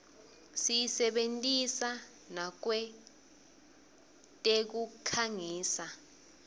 siyisebentisa nakwetekukhangisa